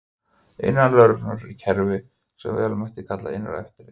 Innan lögreglunnar er kerfi sem vel mætti kalla innra eftirlit.